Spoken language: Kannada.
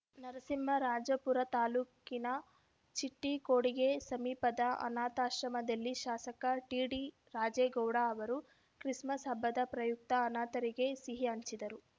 ನರಸಿಂಹರಾಜಪುರ ತಾಲೂಕಿನ ಚಿಟ್ಟಿಕೊಡಿಗೆ ಸಮೀಪದ ಅನಾಥಾಶ್ರಮದಲ್ಲಿ ಶಾಸಕ ಟಿಡಿ ರಾಜೇಗೌಡ ಅವರು ಕ್ರಿಸ್‌ಮಸ್‌ ಹಬ್ಬದ ಪ್ರಯಕ್ತ ಅನಾಥರಿಗೆ ಸಿಹಿ ಹಂಚಿದರು